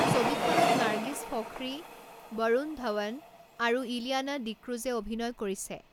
ছবিখনত নাৰ্গিছ ফখৰী, বৰুণ ধৱন আৰু ইলিয়ানা ডিক্ৰুজে অভিনয় কৰিছে।